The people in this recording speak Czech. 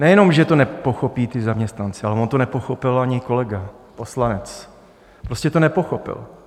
Nejenom že to nepochopí ti zaměstnanci, ale on to nepochopil ani kolega poslanec - prostě to nepochopil.